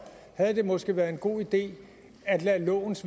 havde det måske været en god idé at lade lovens